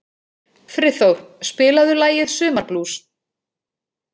Friðþór, spilaðu lagið „Sumarblús“.